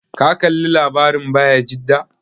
Ka kalla labarin Bayajida?